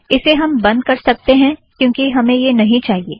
इसे हम बंध कर सकतें हैं क्योंकि हमें यह अब नहीं चाहिए